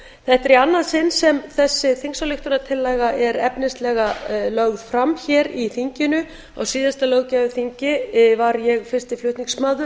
í annað sinn sem þessi þingsályktunartillaga er efnislega lögð fram hér í þinginu á síðasta löggjafarþingi var ég fyrsti flutningsmaður